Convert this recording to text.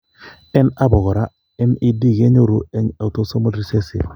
En abo kora, MED kenyoru en autosomal recessive